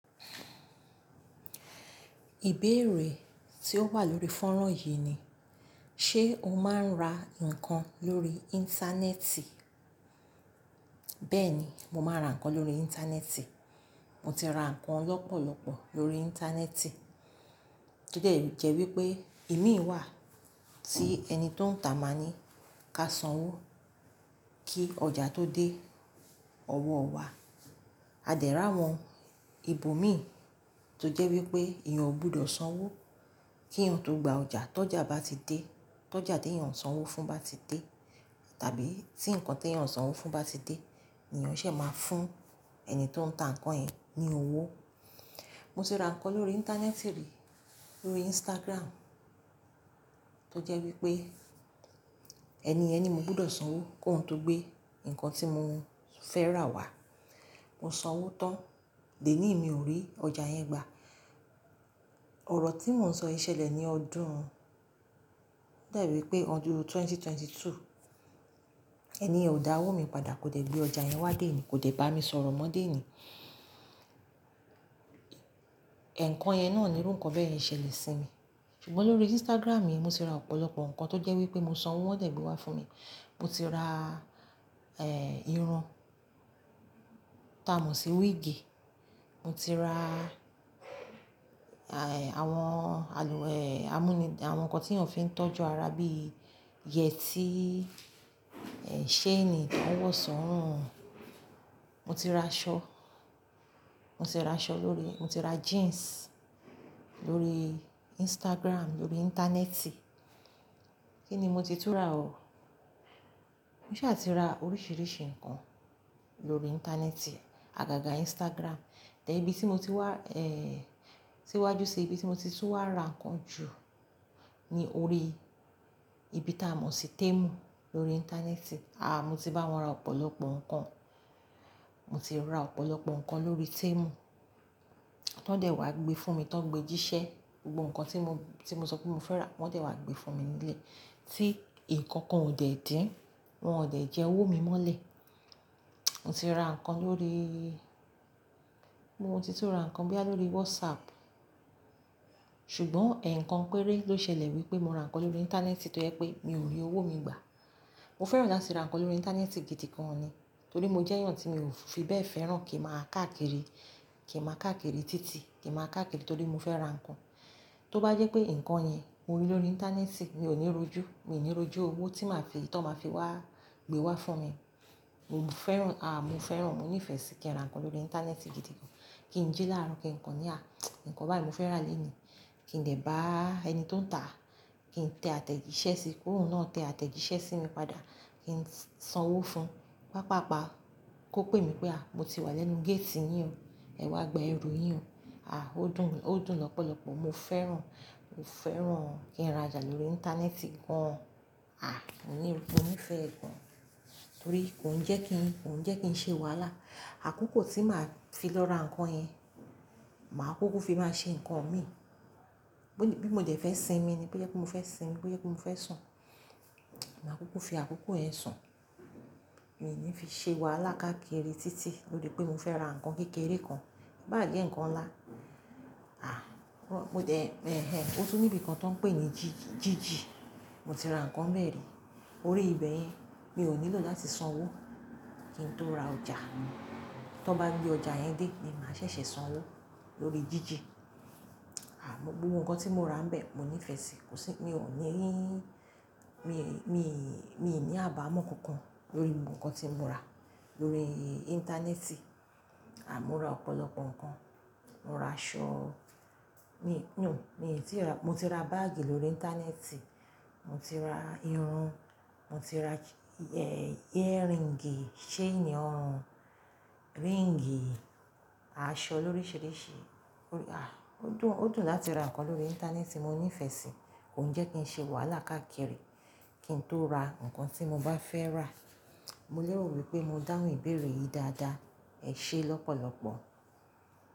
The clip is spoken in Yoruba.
Ìbéèrè tí ó wà lórí fọ́nrán yìí ni, ṣe o máa ń ra nkan lórí Íńtánẹ́ẹ̀tì? Bẹ́ẹ̀ni, mo máa ń ra nǹkan lórí Íńtánẹ́ẹ̀tì. Mo ti ra nkan lọ́pọ̀lọ́pọ̀ lórí Íńtánẹ́ẹ̀tì. Tó de jẹ́ wípé imi wà tí ẹni tó ń ta máa ní ká sanwó kí ọjà tó dé ọwọ́ wa. A dè ri áwọn, ibò mi tó jẹ́ wípé eeyan ò gbudọ̀ sanwó kí eeyan o tó gba ọjà. Tọ́jà bá ti dé, tọ́jà tí eeyan ò sanwó fún bá ti dé, tàbí tí ǹkan tí eeyan ò sanwó fún bá ti dé, eeyan ṣè máa fún ẹni tó ń ta ǹkan yẹn ní owó. Mo ti ra nkan lórí Íńtánẹ́ẹ̀tì rí, lórí Instagram, tó jẹ́ wípé ẹni yẹn ni mo gbudọ̀ sanwó ki óhun tó gbé ǹkan tí mo fẹ́ rà wá. Mo sanwó tán, di éni yi mi ò rí ọjà yẹn gbà. Ọ̀rọ̀ tí mò ń sọ yìí ṣẹlẹ̀ ní ọdún, ó dà bií pé ọdún 2022. Ẹniyẹ̀n o dá owó mi padà, kò dè gbé ọjà yẹn wá deni, kò dè bá mi sọ̀rọ̀ mọ́ dèni. Ẹ̀nkan yẹn náà ni irú ǹkan bẹ́yẹn ṣẹlẹ̀ sí mi. Ṣùgbọ́n lórí Instagram yìí, mo ti ra ọ̀pọ̀lọpọ̀ nkan tó jẹ́ wípé mo sanwó wọ́n de gbé wá fún mi. Mo ti ra, eh, irun taa mọ̀ sí wig. Mo ti ra, àhè, àwọn àlù, eh, amuní, àwọn ǹkan tí èeyàn fi ń tọ́jú ara bíi yẹtí, eh, ṣéènì tó ń wọ̀ sorun. Mo ti ra aṣọ. Mo ti ra aṣọ lórí mo ti ra jeans lórí Instagram, lórí Íńtánẹ́ẹ̀tì. Kí ni mo ti tún ra o? Mo ṣà ti ra oríṣìíríṣìí nǹkan lórí Íńtánẹ́ẹ̀tì, àgàgà Instagram. Then, ibi tí mo ti wá, eh, síwájú sí ibi tí mo ti tún wá ra ǹkan jù ni orí ibi taa mọ̀ sí Temu lórí Íńtánẹ́ẹ̀tì. Ah, mo ti bá wọn ra ọ̀pọ̀lọpọ̀ nǹkan. Mo ti ra ọ̀pọ̀lọpọ̀ nkan lórí Temu, tón de wá gbe fún mi, tón gbe jíṣẹ́. Gbogbo ǹkan tí mo, tí mo sọ pé mo fẹ́ rà, wọ́n de wá gbe fún mi nlé. Tí ìkankan ò dẹ̀ dín, wọ́n ò dẹ̀ jẹ owó mi mọ́lẹ̀. Mo ti ra ǹkan lórí mo ti tún ra ǹkan boya lórí WhatsApp. Ṣùgbọ́n ẹ̀ǹkan péré ló ṣẹlẹ̀ wípé mo ra ǹkan lórí Íńtánẹ́ẹ̀tì tó jẹ́ pé mi ò rí owó mi gbà. Mo feran lati ra nkan lori intaneeti gidi gan ni, tori mo je eeyan ti mio fi bee feran kin maa kaakiri, kin maa kaakiri titi, kin maa kaakiri tori mo fe ra nkan tó bá jé pé ǹkan yẹn mo rí lórí Íńtánẹ́ẹ̀tì, mi ò ní rojú, mi n ní rojú owó tí màá fi, ton màá fi wá gbé wá fún mi. Mo fẹ́ràn, àh, mo fẹ́ràn, mo nífẹ̀ẹ́ sí kí n ra ǹkan lórí Íńtánẹ́ẹ̀tì gidi gan. Kí n jí láárọ̀, kí n kan ní há. Nkàn báyi ni mo fẹ́ rà lónìí, kí n dẹ̀ bá ẹni tó ń tàá, kí n tẹ àtẹ̀jíṣẹ́ sí ki òhun náà tẹ àtẹ̀jíṣẹ́ sí mi padà, kí n sanwó fún. Paapaa paa, ko pe mi pe mo ti wa lenu gate yin o, e wa gba eru yin o, o dun, o dun lopolopo mo feran mo feran kin ra oja lori intaneeti gan ah, mo ní, mo ni ifẹ́ ẹ gan. Torí kò ń jẹ́ kí n, kò ń jẹ́ kí n ṣe wàhálà. Àkókò tí màá fi lọ ra ǹkan yẹn, màá kúkú fi máa ṣe nkan mi. Bí mo dẹ̀ fẹ́ sinmi ni, bó je pé mo fẹ́ sinmi, bó je pé mo fẹ́ sùn, màá kúkú fi àkókò yẹn sùn. Mi n ní fi ṣe wàhálà káàkiri títì lorí pé mo fẹ́ ra nkan kékeré kan. Ko bà jẹ́ ǹkan ńlá. Ah, mo dẹ̀, ehn, ó tún níbi kan tó ń pè ní jíjì, Jiji. Mo ti ra nǹkan bẹ́ẹ̀ rí. Órí ibẹ̀yẹn, mi ò nílò láti sanwó kí n tó ra ọjà. Tón bá gbé ọjà yẹn dé ni máa ṣẹ̀ṣẹ̀ sanwó lórí Jiji. Ah, gbogbo nkan tí mo rà nbẹ̀, mo nífẹ̀ẹ́ sí i. Kò sí, mi ò ní, mi, mi, mi n ní àbámọ̀ kankan lórí gbogbo nkan tí mo rà lórí Íńtánẹ́ẹ̀tì. Ah, mo ra ọ̀pọ̀lọpọ̀ nǹkan. Mo ra aṣọ. Mi, no, mi n tíì ra, mo ti ra báágì lórí Íńtánẹ́ẹ̀tì. Mo ti ra irun. Mo ti ra, eh, earring, ṣéènì ọrùn, ring, aṣọ loríṣìíríṣìí. Ah, ó dùn, ó dùn láti ra ǹkan lórí Íńtánẹ́ẹ̀tì. Mo nífẹ̀ẹ́ síi. Kò ń jẹ́ kí n ṣe wàhálà káàkiri kí n tó ra nkan tí mo bá fẹ́ rà. Mo lè rò wípé mo dáhùn ìbéèrè yìí dáadáa. Ẹ ṣé lọ́pọ̀lọpọ̀.